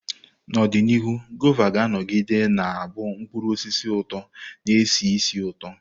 N'ọdịnihu, Guava ga-anọgide na-abụ mkpụrụ osisi ụtọ na-esi ísì ụtọ.